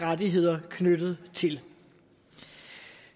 rettigheder knyttet til